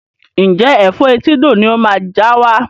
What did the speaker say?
Ǹjẹ́ Ẹ̀fọ́ etídò ni ó máa já wá?